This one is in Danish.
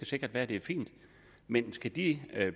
sikkert være at det er fint men skal de